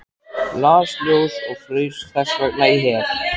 Las ljóð og fraus þessvegna í hel.